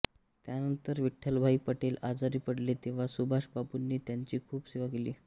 त्यानंतर विठ्ठलभाई पटेल आजारी पडले तेव्हा सुभाषबाबूंनी त्यांची खूप सेवा केली